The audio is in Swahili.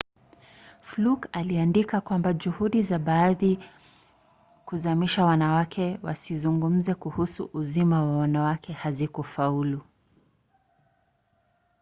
fluke aliandika kwamba juhudi za baadhi kuzamisha wanawake wasizungumze kuhusu uzima wa wanawake hazikufaulu